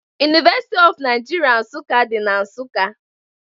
University of Nigeria Nsukka dị na Nsukka